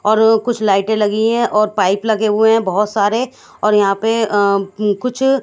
और कुछ लाईटे लगी है और पाइप लगे हुए हैं बहोत सारे और यहां पे अ कुछ--